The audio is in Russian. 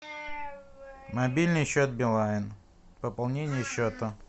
мобильный счет билайн пополнение счета